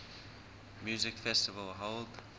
music festival held